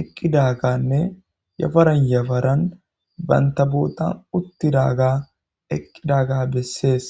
eqqidaaganne yafaran yafaran banta bootan uttidaga eqqidaga bessees